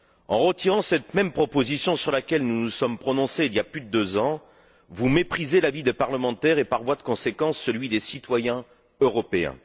En retirant cette même proposition, sur laquelle nous nous sommes prononcés il y a plus de deux ans, vous méprisez l'avis des parlementaires et, par voie de conséquence, celui des citoyens européens.